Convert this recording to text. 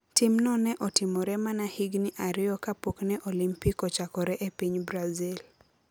Timno ne otimore mana higini ariyo kapok ne Olimpik ochakore e piny Brazil.